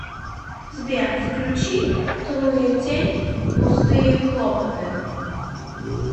сбер включи трутень пустые хлопоты